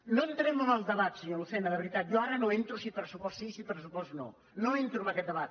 no entrem en el debat senyor lucena de veritat jo ara no entro si pressupost sí si pressupost no no entro en aquest debat